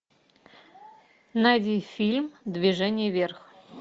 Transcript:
найди фильм движение вверх